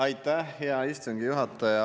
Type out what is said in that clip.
Aitäh, hea istungi juhataja!